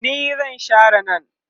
ni zan Share nan